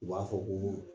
U b'a fɔ ko